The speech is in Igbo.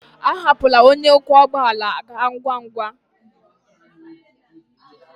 Ahapụla, onye ọkwọ ụgbọ ala ga-aga ngwa ngwa.